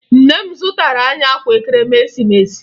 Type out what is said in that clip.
Nne m zụtara anyị akwa Ekeresimesi